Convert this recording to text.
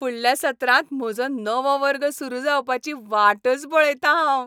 फुडल्या सत्रांत म्हजो नवो वर्ग सुरू जावपाची वाटच पळयतां हांव!